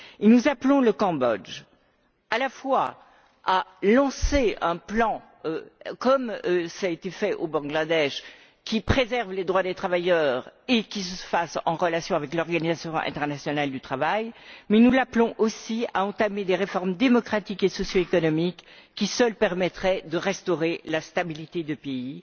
Nous appelons le Cambodge à la fois à lancer un plan comme cela a été fait au Bangladesh qui préserve les droits des travailleurs et qui intervienne en relation avec l'Organisation internationale du travail, mais nous l'appelons aussi à entamer des réformes démocratiques et socio économiques qui seules permettraient de restaurer la stabilité du pays.